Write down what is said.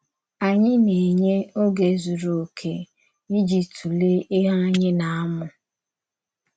Ányị na-ènye ògé zùrù òkè íjì tụ̀lèe íhè ányị na-amụ̀?